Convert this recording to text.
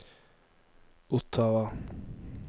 Ottawa